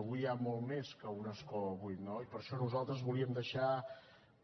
avui hi ha molt més que un escó buit no i per això nosaltres volíem deixar